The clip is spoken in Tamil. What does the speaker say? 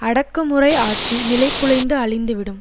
அடக்குமுறை ஆட்சி நிலை குலைந்து அழிந்துவிடும்